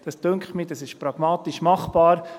Mich dünkt, das sei pragmatisch machbar.